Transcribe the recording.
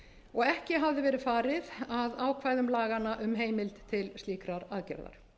og ekki hafði verið farið að ákvæðum laganna um heimild til slíkrar aðgerðar